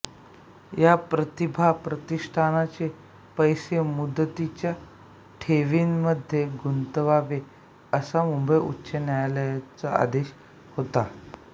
या प्रतिभा प्रतिष्ठानचे पैसे मुदतीच्या ठेवींमध्ये गुंतवावे असा मुंबई उच्च न्यायालयाचा आदेश होता